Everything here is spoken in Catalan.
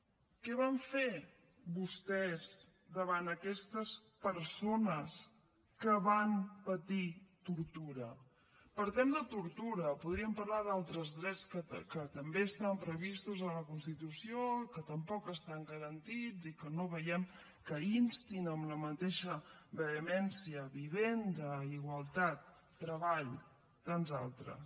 què van fer vostès davant aquestes persones que van patir tortura parlem de tortura podríem parlar d’altres drets que també estan previstos a la constitució que tampoc estan garantits i que no veiem que instin amb la mateixa vehemència vivenda igualtat treball tants altres